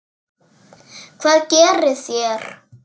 Hvað gerið þér?